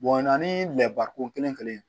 o na ni lɛbaran ko kelen kelen